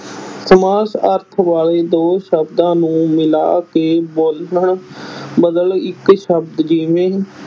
ਸਮਾਨ ਅਰਥ ਵਾਲੇ ਦੋ ਸ਼ਬਦਾਂ ਨੂੰ ਮਿਲਾ ਕੇ ਬਣਦਾ ਬਦਲ ਇੱਕ ਸ਼ਬਦ ਜਿਵੇਂ